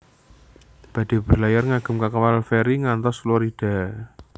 Badhe berlayar ngagem kapal feri ngantos Florida